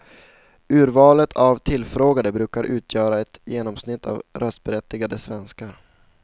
Urvalet av tillfrågade brukar utgöra ett genomsnitt av röstberättigade svenskar.